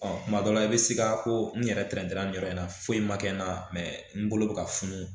Ɔ kuma dɔ la i bɛ siga ko n yɛrɛ tɛntɛnna nin yɔrɔ in na foyi ma kɛ n na mɛ n bolo bɛ ka funu